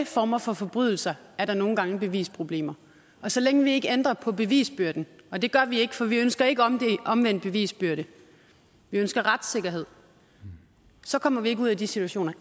former for forbrydelser nogle gange er bevisproblemer og så længe vi ikke ændrer bevisbyrden og det gør vi ikke for vi ønsker ikke omvendt omvendt bevisbyrde vi ønsker retssikkerhed så kommer vi ikke ud i de situationer